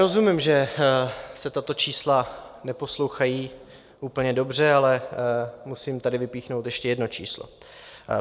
Rozumím, že se tato čísla neposlouchají úplně dobře, ale musím tady vypíchnout ještě jedno číslo.